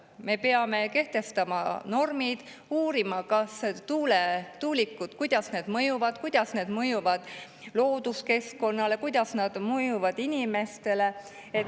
Me peame kehtestama normid ja uurima, kuidas tuulikud mõjuvad looduskeskkonnale, kuidas need mõjuvad inimestele.